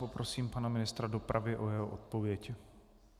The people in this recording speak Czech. Poprosím pana ministra dopravy o jeho odpověď.